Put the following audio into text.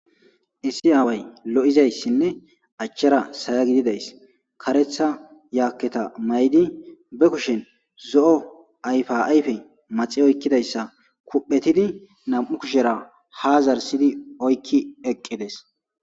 Issi aaway lo7izayssinne achchara saya gididays karetha yaakketa maydi be kushen zo7o ayfa ayfe maxi oykkidayssa kuphetidi nam7u kushera ha zarsidi oykki eqqides.